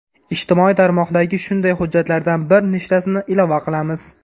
Ijtimoiy tarmoqdagi shunday hujjatlardan bir nechtasini ilova qilamiz.